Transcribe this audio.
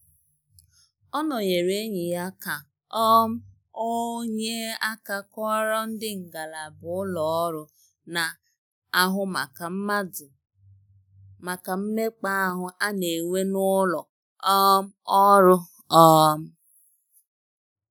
Ọ nọnyere enyi ya ka um ọ nye aka kọọrọ ndị ngalaba ụlọ ọrụ na-ahụ maka mmadụ maka mmekpa ahụ a na-enwe n'ụlọ um ọrụ um